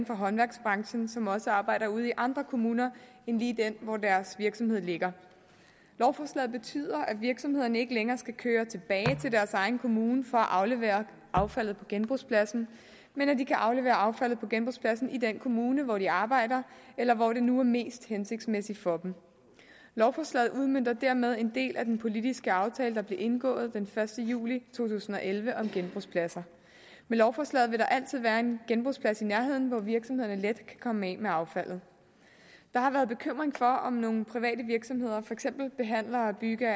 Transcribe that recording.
håndværksbranchen som også arbejder ude i andre kommuner end lige den hvor deres virksomhed ligger lovforslaget betyder at virksomhederne ikke længere skal køre tilbage til deres egen kommune for at aflevere affaldet på genbrugspladsen men at de kan aflevere affaldet på genbrugspladsen i den kommune hvor de arbejder eller hvor det nu er mest hensigtsmæssigt for dem lovforslaget udmønter dermed en del af den politiske aftale der blev indgået den første juli to tusind og elleve om genbrugspladser med lovforslaget vil der altid være en genbrugsplads i nærheden hvor virksomhederne let kan komme af med affaldet der har været bekymring for om nogle private virksomheder for eksempel behandlere af bygge